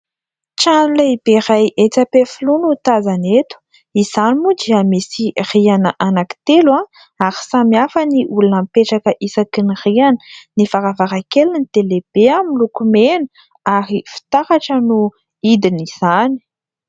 Trano lehibe iray etsy Ampefiloha no tazana eto. Izany moa dia misy rihana anankitelo ary samy hafa ny olona mipetraka isaky ny rihana. Ny varavarankeliny dia lehibe miloko mena ary fitaratra no hidin'izany.